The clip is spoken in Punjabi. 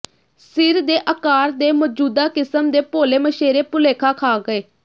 ਸਿਰ ਦੇ ਆਕਾਰ ਦੇ ਮੌਜੂਦਾ ਕਿਸਮ ਦੇ ਭੋਲੇ ਮਛੇਰੇ ਭੁਲੇਖਾ ਖਾ ਗਏ